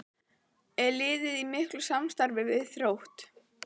Er liðið í miklu samstarfi við Þrótt?